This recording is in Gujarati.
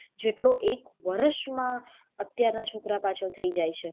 જેટલો એક વરસ માં અત્યાર ના એક છોકરા પાછળ થઇ જાય છે.